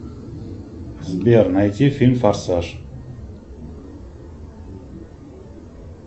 сбер найти фильм форсаж